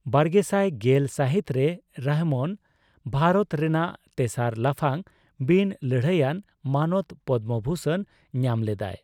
ᱵᱟᱨᱜᱮᱥᱟᱭ ᱜᱮᱞ ᱥᱟᱹᱦᱤᱛ ᱨᱮ, ᱨᱚᱦᱚᱢᱟᱱ ᱵᱷᱟᱨᱚᱛ ᱨᱮᱱᱟᱜ ᱛᱮᱥᱟᱨ ᱞᱟᱯᱷᱟᱝ ᱵᱤᱱᱼᱞᱟᱹᱲᱦᱟᱹᱭᱟᱱ ᱢᱟᱱᱚᱛ ᱯᱚᱫᱽᱫᱚᱵᱷᱩᱥᱚᱱ ᱧᱟᱢ ᱞᱮᱫᱟᱭ ᱾